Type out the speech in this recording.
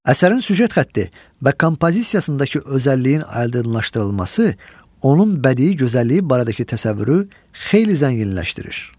Əsərin süjet xətti və kompozisiyasındakı özəlliyin aydınlaşdırılması onun bədii gözəlliyi barədəki təsəvvürü xeyli zənginləşdirir.